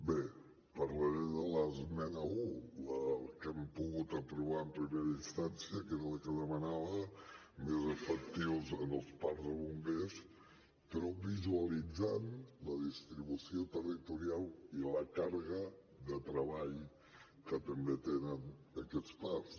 bé parlaré de l’esmena un la que hem pogut aprovar en primera instància que era la que demanava més efectius en els parcs de bombers però visualitzant la distribució territorial i la càrrega de treball que també tenen aquests parcs